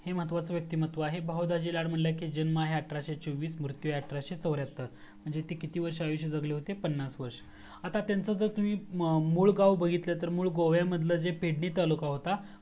हे महत्वाचा व्यक्तिमत्व आहे बहू दाजी लाल म्हणला की जन्म आहे अठराशे चोव्वीस मृतू आहे अठराशे चवर्‍याहत्तर म्हणजे ते किती वर्ष आयुष्य जगले तर पन्नास वर्षं आता जर त्यांचा मूल गाव बघितला तर मूल गोवामधला जे पेडगी तालुका होतं